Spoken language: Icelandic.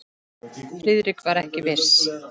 Friðrik var ekki viss.